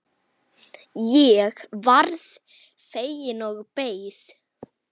Ég varð fegin og beið.